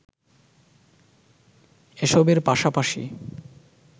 এসবের পাশাপাশি